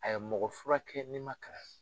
A ye mɔgɔ fura kɛ ni ma kalan.